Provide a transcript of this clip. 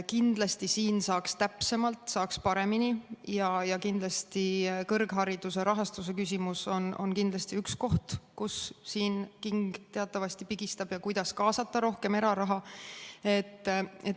Kindlasti siin saaks täpsemalt, saaks paremini ja kindlasti on kõrghariduse rahastuse küsimus üks koht, kust king teatavasti pigistab,, kuidas kaasata rohkem eraraha.